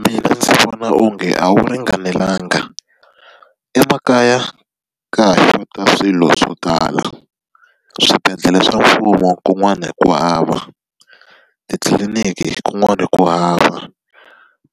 Mina ndzi vona onge a wu ringanelanga. Emakaya ka ha xota swilo swo tala. Swibedlhele swa mfumo kun'wana hi ku hava, titliliniki kun'wana ku hava,